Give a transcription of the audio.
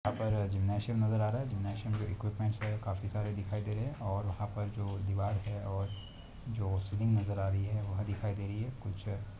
यहा पर जिमनासीयम नजर आ रहा है जिमनासीयम मे इक्विपमेंट् हे काफी सारे दिखाई दे रहे है और यहा पर जो दीवार है और जो सीलिंग नजर आ रही है वह दिखाई दे रही है। कुछ --